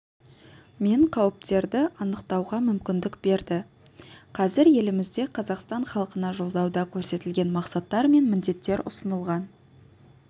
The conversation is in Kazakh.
мен қауіптерді анықтауға мүмкіндік берді қазір елімізде қазақстан халқына жолдауда көрсетілген мақсаттар мен міндеттер ұсынылған